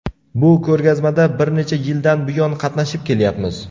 Bu ko‘rgazmada bir necha yildan buyon qatnashib kelyapmiz.